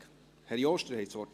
Kommissionspräsident der SAK.